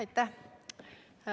Aitäh!